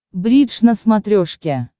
бридж на смотрешке